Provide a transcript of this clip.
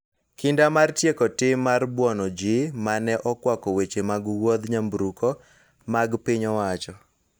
Kinda mar tieko tim mar buono ji ma ne okwako weche mag wuodh nyamburko mag piny owacho.